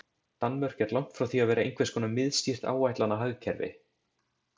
Danmörk er langt frá því að vera einhvers konar miðstýrt áætlanahagkerfi.